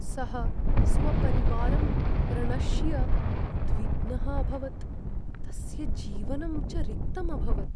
सः स्वपरिवारं प्रणश्य उद्विग्नः अभवत्, तस्य जीवनं च रिक्तम् अभवत्।